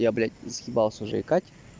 я блядь заебался уже икать